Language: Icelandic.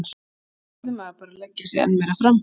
Þá verður maður bara að leggja sig enn meira fram.